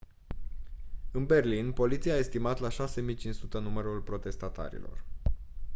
în berlin poliția a estimat la 6500 numărul protestatarilor